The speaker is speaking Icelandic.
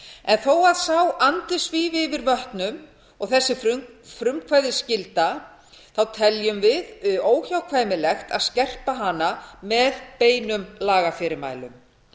en þó að sá andi svífi yfir vötnum og þessi frumkvæðisskylda teljum við óhjákvæmilegt að skerpa hana með beinum lagafyrirmælum